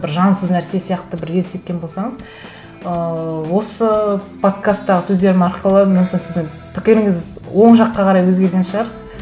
бір жансыз нәрсе сияқты бір елестеткен болсаңыз ыыы осы подкасттағы сөздерім арқылы мүмкін сіздің пікіріңіз оң жаққа қарай өзгерген шығар